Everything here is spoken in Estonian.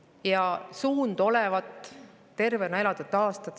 Ja suund olevat tervena elatud.